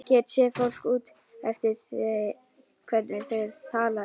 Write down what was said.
Get séð fólk út eftir því hvernig það talar.